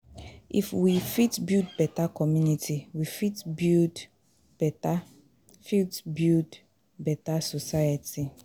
If we fit build beta community, we fit build beta fit build beta society.